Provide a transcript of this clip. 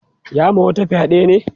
ya ma wata fyaɗe ne